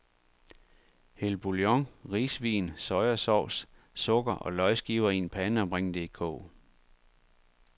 Hæld boullion, risvin, soya sauce, sukker og løgskiver i en pande og bring det i kog.